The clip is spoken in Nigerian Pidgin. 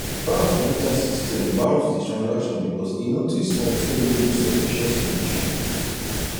bank computer system bounce the transaction because e notice something wey look suspicious suspicious